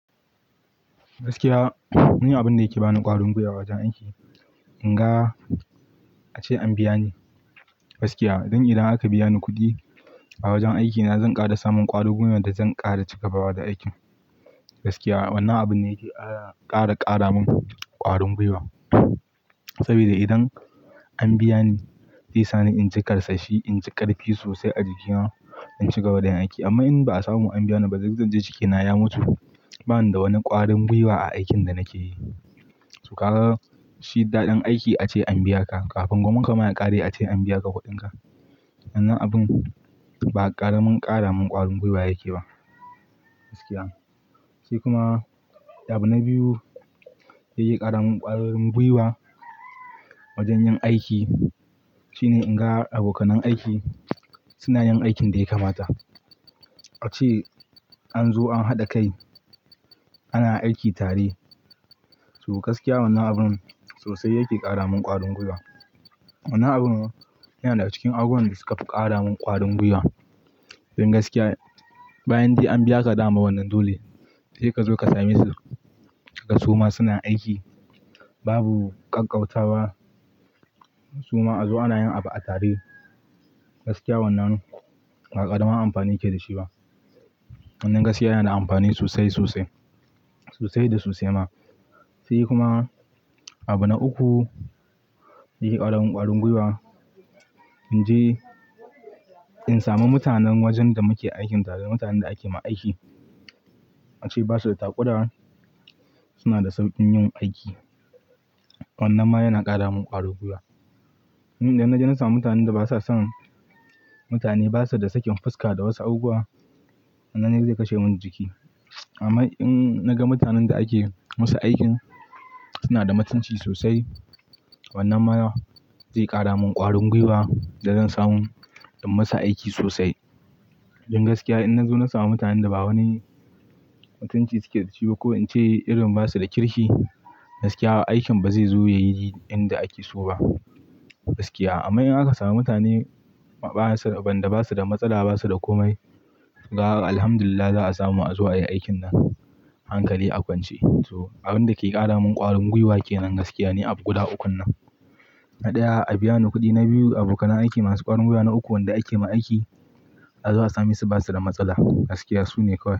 Gaskiya, ni abun da yake bani ƙwarin gwiwa wajen aiki, in ga ace an biya ni. Gaskiya, idan aka biya ni kuɗi a wajen aikina, zan ƙara samun ƙwarin gwiwa da zan ƙara cigabawa da aikin. Wannan abun ne yake ƙara kara min ƙwarin gwiwa. Saboda idan an biya ni, zai sa ni in ji ƙarsashi, in ji ƙarfi sosai a jikina, in cigaba da yin aiki. Amma in ba a samu an biya ni ba, duk zanji jikina ya mutu. Ba ni da wani ƙwarin gwiwa a aikin da nake yi. To, ka ga shi daɗin aiki ace an biya ka kafin gwuminka ma ya ƙare ace an biya ka kuɗinka. Wannan abun ba ƙaramin ƙara min ƙwarin gwiwa yake ba, gaskiya. Sai kuma, abu na biyu da zai ƙara min ƙwarin gwiwa wajen yin aiki shine in ga abokan aiki suna yin aikin da ya kamata. Ace an zo an haɗa kai, ana aiki tare. To gaskiya, wannan abun sosai yake ƙara min ƙwarin gwiwa. Wannan abun yana cikin abubuwan da suka fi ƙara min ƙwarin gwiwa. Don gaskiya, bayan dai an biya ka dama wannan dole, sai ka zo ka same su kaga suma suna aiki babu ƙaƙƙauta ba. Suma a zo ana yin abu a tare. Gaskiya wannan ba ƙaramin amfani yake da shi ba. Wannan gaskiya yana da amfani sosai, sosai, sosai da sosai ma. Sai kuma, abu na uku yake ƙara min ƙwarin gwiwa. In ji in samu mutanen wajen da muke aiki tare, mutanen da ake ma aiki ace basu da takura, suna da sauƙin yin aiki. Wannan ma yana ƙara min ƙwarin gwiwa. In da na je na samu mutanen da basa son, mutane basu da sakin fuska da wasu abubuwa, wannan zai kashe min jiki. Amma in naga mutanen da ake musu aikin suna da mutunci sosai, wannan ma zai ƙara min ƙwarin gwiwa da zan samu in musu aiki sosai. Don gaskiya, in na zo na samu mutanen da ba wani mutunci suke da shi ba ko in ce irin, basu da kirki, gaskiya aikin ba zai zo ya yi inda ake so ba, gaskiya. Amma in aka samu mutane waɗanda basu da matsala, basu da komai, ga Alhamdulillah za a samu an zo ayi aikin nan hankali a kwance. To, abun da ke ƙara min ƙwarin gwiwa kenan gaskiya ni abu ukun nan. Na ɗaya, a biya ni kuɗi. Na biyu, abokan aiki masu ƙwarin gwiwa. Na uku, wanda ake ma aiki za a samu su basu da matsala. Gaskiya su ne kawai.